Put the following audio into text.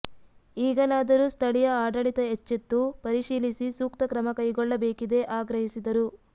ಈಗಲಾದರೂ ಸ್ಥಳೀಯ ಆಡಳಿತ ಎಚ್ಚೆತ್ತು ಪರಿಶೀಲಿಸಿ ಸೂಕ್ತ ಕ್ರಮ ಕೈಗೊಳ್ಳಬೇಕಿದೆ ಆಗ್ರಹಿಸಿದರು